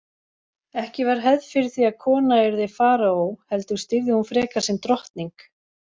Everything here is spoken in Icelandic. Ekki var hefð fyrir því að kona yrði faraó heldur stýrði hún frekar sem drottning.